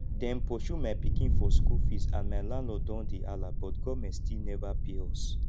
dem pursue my pikin for school fees and my landlord don hey halla but government still never pay us